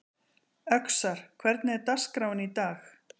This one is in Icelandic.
Öxar, hvernig er dagskráin í dag?